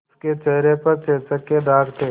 उसके चेहरे पर चेचक के दाग थे